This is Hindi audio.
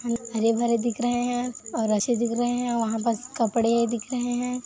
हरे-भरे दिख रहे हैं और रस्सी दिख रहे हैं और वहाँ पास कपड़े दिख रहे हैं।